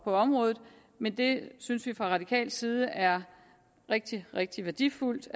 på området men det synes vi fra radikal side er rigtig rigtig værdifuldt